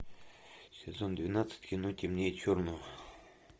сезон двенадцать кино темнее черного